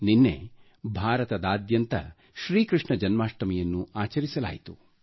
ನಿನ್ನೆ ಭಾರತದಾದ್ಯಂತ ಶ್ರೀ ಕೃಷ್ಣ ಜನ್ಮಾಷ್ಠಮಿಯನ್ನು ಆಚರಿಸಲಾಯಿತು